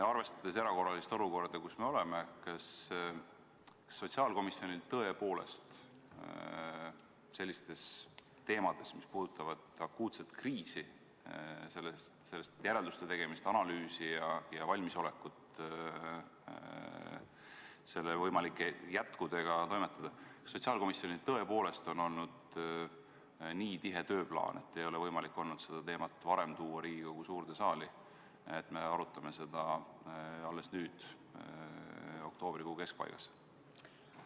Arvestades erakorralist olukorda, kus me oleme, kas sotsiaalkomisjonil tõepoolest – sellistes teemades, mis puudutavad akuutset kriisi, sellest järelduste tegemist, analüüsi ja valmisolekut selle võimalike jätkudega toimetada – on olnud nii tihe tööplaan, et seda teemat ei ole varem olnud võimalik tuua Riigikogu suurde saali: me arutame seda alles nüüd, oktoobrikuu keskpaigas?